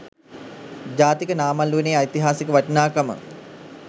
ජාතික නාමල් උයනේ ඓතිහාසික වටිනාකම